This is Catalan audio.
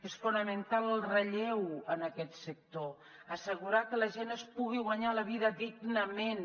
és fonamental el relleu en aquest sector assegurar que la gent es pugui guanyar la vida dignament